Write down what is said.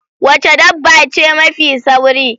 Wace dabba ce mafi sauri?